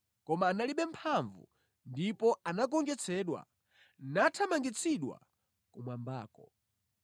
Koma analibe mphamvu ndipo anagonjetsedwa nathamangitsidwa kumwambako.